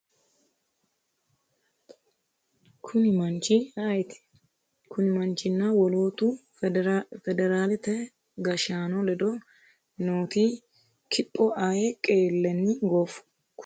kuni manchi ayeeti? kuni manchinna wolootu federaate gashshaano ledo nooti kipho ayee qeellenni gooffu? kuni manchi tenne yannara maa loosanni afamanno?